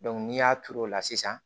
n'i y'a turu o la sisan